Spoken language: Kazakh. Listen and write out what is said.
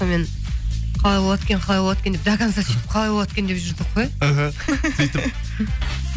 сонымен қалай болады екен қалай болады екен деп до конца сөйтіп қалай болады екен деп жүрдік қой мхм сөйтіп